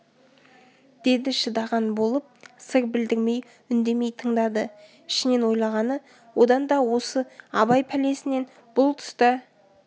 деді шыдаған болып сыр білдірмей үндемей тыңдады ішінен ойлағаны одан да осы абай пәлесінен бұл тұста